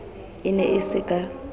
e ne e se ka